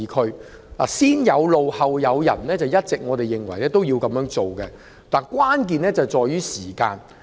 我們一直認為"先有路，後有人"是正確的做法，但關鍵在於時間。